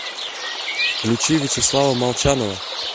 включи вячеслава молчанова